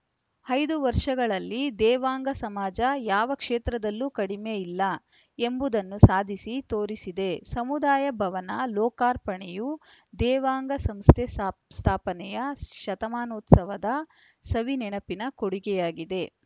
ಐದು ವರ್ಷಗಳಲ್ಲಿ ದೇವಾಂಗ ಸಮಾಜ ಯಾವ ಕ್ಷೇತ್ರದಲ್ಲೂ ಕಡಿಮೆ ಇಲ್ಲ ಎಂಬುದನ್ನು ಸಾಧಿಸಿ ತೋರಿಸಿದೆ ಸಮುದಾಯ ಭವನ ಲೋಕಾರ್ಪಣೆಯು ದೇವಾಂಗ ಸಂಸ್ಥೆ ಸ್ಥಾ ಸ್ಥಾಪನೆಯ ಶತಮಾನೋತ್ಸವದ ಸವಿ ನೆನೆಪಿನ ಕೊಡುಗೆಯಾಗಿದೆ